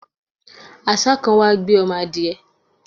àṣá kan wá gbé ọmọ adiẹ